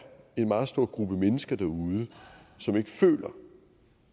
en meget stor gruppe mennesker derude som ikke føler